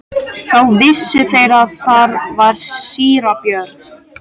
Þá vissu þeir að þar var síra Björn.